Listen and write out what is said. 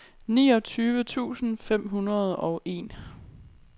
niogtyve tusind fem hundrede og en